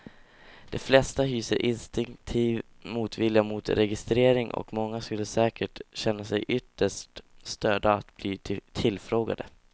De flesta hyser instinktiv motvilja mot registrering och många skulle säkert känna sig ytterst störda av att bli tillfrågade.